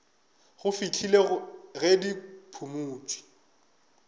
go fihlela ge di phumotšwe